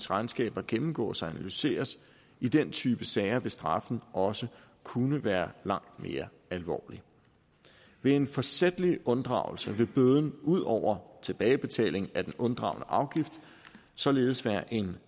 regnskaber gennemgås og analyseres i den type sager vil straffen også kunne være langt mere alvorlig ved en forsætlig unddragelse vil bøden ud over tilbagebetaling af den unddragne afgift således være én